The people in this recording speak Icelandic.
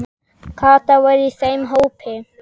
Kata var í þeim hópi.